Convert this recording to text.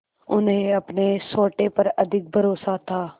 उन्हें अपने सोटे पर अधिक भरोसा था